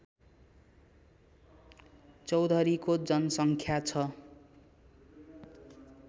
चौधरीको जनसङ्ख्या छ